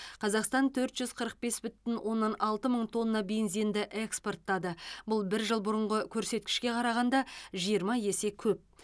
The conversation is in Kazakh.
қазақстан төрт жүз қырық бес бүтін оннан алты мың тонна бензинді экспорттады бұл бір жыл бұрынғы көрсеткішке қарағанда жиырма есе көп